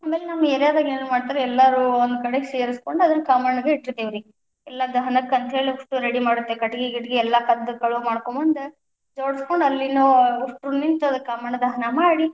ಆಮೇಲೆ ನಮ್ಮ ಏರಿಯಾದಾಗ ಏನ್ ಮಾಡ್ತಾರಾ? ಎಲ್ಲಾರು ಒಂದು ಕಡೆ ಸೇರಿಸ್ಕೊಂಡ ಅದನ್ನ ಕಾಮಣ್ಣ ಇಟ್ಟಿರತೇವ್ರಿ, ಇಲ್ಲ ದಹನಕಂತ ಹೇಳಿವಸ್ತು ಎಲ್ಲಾ ready ಮಾಡಿರ್ತೀವರಿ, ಕಟಗಿ ಗಿಟಗಿ ಎಲ್ಲಾ ಕದ್ದ ಕಳು ಮಾಡ್ಕೊಂಡ್ ಬಂದ್ ಜೋಡಿಸ್ಕೊಂಡು, ಅಲ್ಲಿನೂ ಉಸ್ಟೂರು ನಿಂತ ಕಾಮಣ್ಣ ದಹನ ಮಾಡಿ.